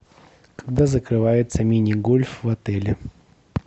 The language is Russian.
когда закрывается мини гольф в отеле